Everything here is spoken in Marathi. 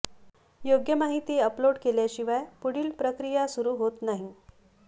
योग्य माहिती अपलोड केल्याशिवाय पुढील प्रक्रिया सुरू होत नाही